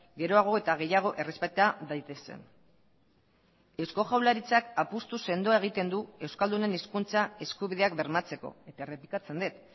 geroago eta gehiago errespeta daitezen eusko jaurlaritzak apustu sendoa egiten du euskaldunen hizkuntza eskubideak bermatzeko eta errepikatzen dut